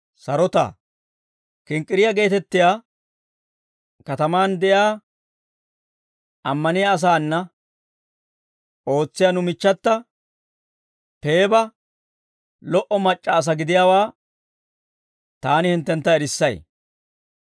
Kinkkiriyaa geetettiyaa katamaan de'iyaa ammaniyaa asaana ootsiyaa nu michchata Peeba lo"o mac'c'a asaa gidiyaawaa taani hinttentta erissay.